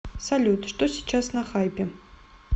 салют что сейчас на хайпе